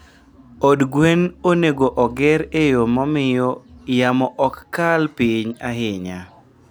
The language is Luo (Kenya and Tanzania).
Od gwen onego oger e yo mamiyo yamo ok kal piny ahinya.